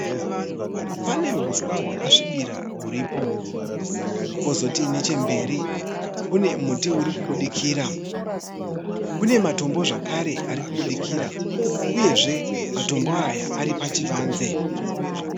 Pane huswa hwakasvibira huripo. Kwozoti nechemberi kune muti urikubudikira. Kune matombo zvakare arikuburikira uyezve matombo aya ari pachivanze.